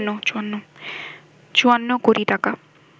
৫৪ কোটি টাকা